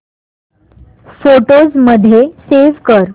photos मध्ये save कर